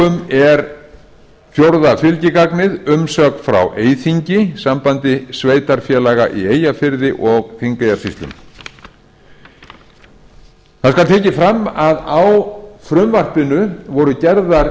er fjórða fylgigagnið umsögn frá eyþingi sambandi sveitarfélaga í eyjafirði og þingeyjarsýslum það skal tekið fram að á frumvarpinu voru gerðar